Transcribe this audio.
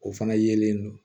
O fana yelen don